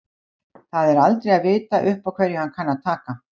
Það er aldrei að vita upp á hverju hann kann að taka.